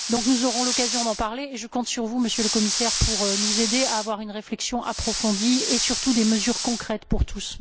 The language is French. Nous aurons l'occasion d'en parler et je compte sur vous, Monsieur le Commissaire, pour nous aider à avoir une réflexion approfondie et surtout des mesures concrètes pour tous.